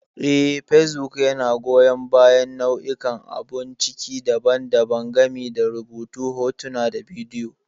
Eh, facebook yana goyan bayan nau'ikan abun ciki daban-daban, gami da rubutu, hotuna, da bidiyo.